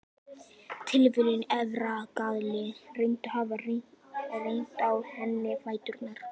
Tilviljun, erfðagalli, reyndist hafa reyrt á henni fæturna.